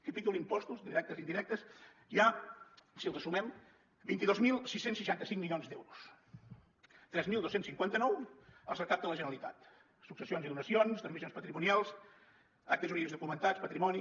capítol impostos directes i indirectes hi ha si els sumem vint dos mil sis cents i seixanta cinc milions d’euros tres mil dos cents i cinquanta nou els recapta la generalitat successions i donacions transmissions patrimonials actes jurídics documentats patrimoni